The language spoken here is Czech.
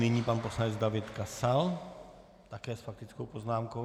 Nyní pan poslanec David Kasal také s faktickou poznámkou.